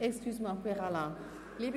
Excusez-moi, Pierre Alain Schnegg.